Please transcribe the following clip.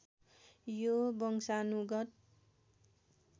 यो वंशानुगत